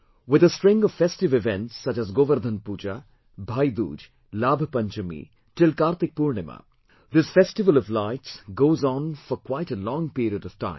With a string of festive events such as Govardhan Puja, Bhai Dooj, Laabh Panchmi till Kartik Purnima this festival of lights goes on for quite a long period of time